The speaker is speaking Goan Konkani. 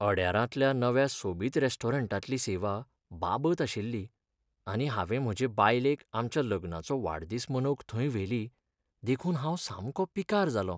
अड्यारांतल्या नव्या सोबीत रॅस्टोरंटांतली सेवा बाबत आशिल्ली आनी हांवें म्हजे बायलेक आमच्या लग्नाचो वाडदिसा मनवंक थंय व्हेली, देखून हांव सामको पिकार जालों.